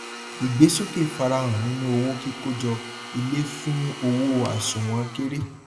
ìgbésókè farahàn nínú owó kíkójọ ilé fún owó àsùnwọn kéré